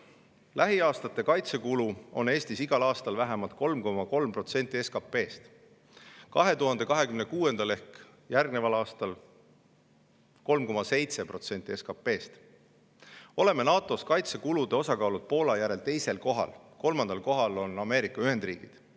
Lähiaastatel on Eesti kaitsekulu igal aastal vähemalt 3,3% SKP‑st, järgmisel ehk 2026. aastal 3,7% SKP‑st. Oleme NATO‑s kaitsekulude osakaalult Poola järel teisel kohal, kolmandal kohal on Ameerika Ühendriigid.